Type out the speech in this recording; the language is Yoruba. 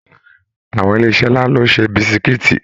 Àwọn ilé iṣẹ nlá lo n ṣe bisikiiti.